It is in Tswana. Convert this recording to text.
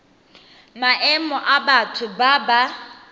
maemo a batho ba ba